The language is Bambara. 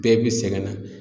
Bɛɛ bi sɛgɛn na.